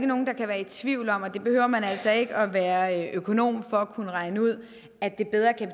nogen der kan være i tvivl om og det behøver man altså ikke at være økonom for at kunne regne ud at det bedre kan